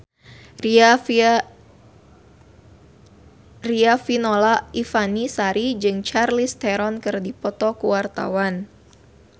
Riafinola Ifani Sari jeung Charlize Theron keur dipoto ku wartawan